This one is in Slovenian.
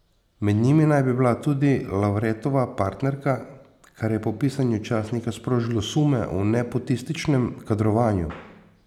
Med njimi naj bi bila tudi Lavretova partnerka, kar je po pisanju časnika sprožilo sume o nepotističnem kadrovanju.